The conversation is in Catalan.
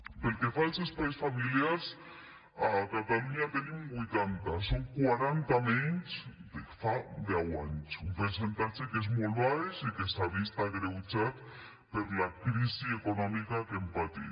pel que fa als espais familiars a catalunya en tenim vuitanta són quaranta menys que fa deu anys un percentatge que és molt baix i que s’ha vist agreujat per la crisi econòmica que hem patit